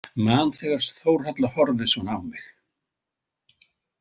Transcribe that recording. Man þegar Þórhalla horfði svona á mig.